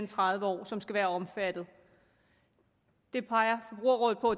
tredive år som skal være omfattet det peger forbrugerrådet på